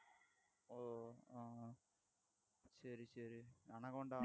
சரி சரி anaconda